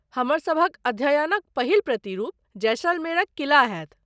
हमर सभक अध्ययनक पहिल प्रतिरूप जैसलमेरक किला होयत।